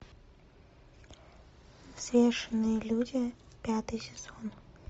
взвешенные люди пятый сезон